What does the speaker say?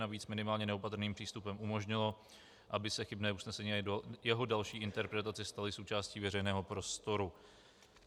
Navíc minimálně neopatrným přístupem umožnilo, aby se chybné usnesení a jeho další interpretace staly součástí veřejného prostoru.